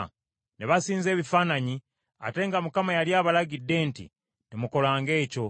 Ne basinza ebifaananyi, ate nga Mukama yali abalagidde nti, “Temukolanga ekyo.”